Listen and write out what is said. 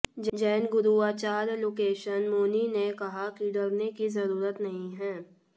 जैन गुरु आचार्य लोकेशन मुनी ने कहा कि डरने की जरूरत नहीं है